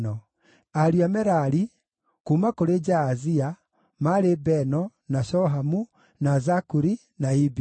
Ariũ a Merari: kuuma kũrĩ Jaazia: maarĩ Beno, na Shohamu, na Zakuri, na Ibiri.